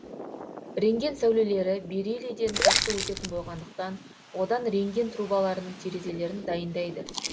рентген сәулелері бериллийден жақсы өтетін болғандықтан одан рентген трубкаларының терезелерін дайындайды